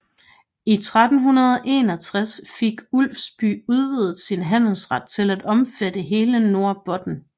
I 1361 fik Ulfsby udvidet sin handelsret til at omfatte hele Norrbotten